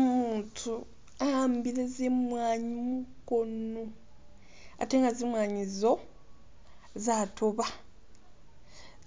Umutu ahambile zimwanyi mukoono ate nga zimwanyi izo zatoba